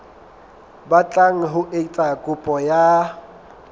batlang ho etsa kopo ya